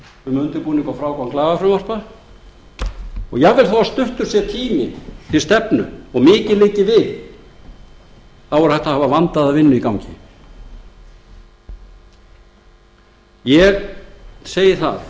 um undirbúning og frágang lagafrumvarpa en jafnvel þótt tíminn til stefnu sé stuttur og mikið liggi við þá er hægt að hafa vandaða vinnu í gangi það er